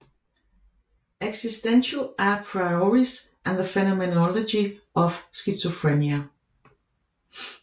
Existential a prioris and the phenomenology of schizophrenia